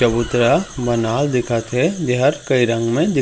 चबूतरा बनाओ दिखत हे जेहर कई रंग में दिखत--